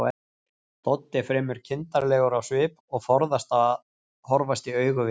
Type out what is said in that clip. Doddi er fremur kindarlegur á svip og forðast að horfast í augu við